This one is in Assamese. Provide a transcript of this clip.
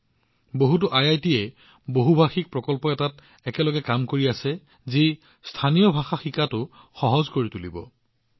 কেইবাখনো আইআইটিয়ে এটা বহুভাষিক প্ৰকল্পত একেলগে কাম কৰি আছে যিয়ে স্থানীয় ভাষা শিকা সহজ কৰি তোলে